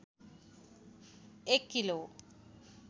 एक किलो